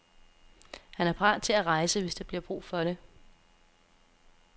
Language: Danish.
Han er parat til at rejse, hvis der bliver brug for det.